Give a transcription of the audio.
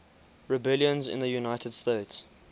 rebellions in the united states